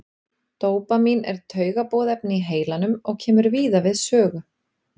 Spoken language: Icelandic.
Dópamín er taugaboðefni í heilanum og kemur víða við sögu.